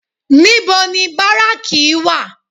Níbo ni báráàkì wà?